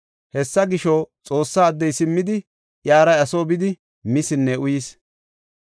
Hessa gisho, Xoossa addey simmidi iyara iya soo bidi misinne uyis.